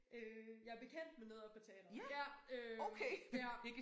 Øh jeg bekendt med noget oppe på teatret ja øh ja